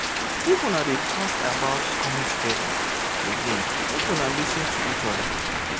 if una dey talk about coming together again make una lis ten to each oda